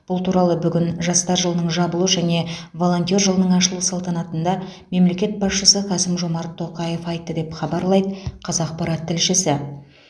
бұл туралы бүгін жастар жылының жабылу және волонтер жылының ашылу салтанатында мемлекет басшысы қасым жомарт тоқаев айтты деп хабарлайды қазақпарат тілшісі